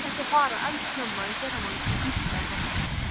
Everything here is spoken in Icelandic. Áttu ekki að fara eldsnemma í fyrramálið til Ísafjarðar?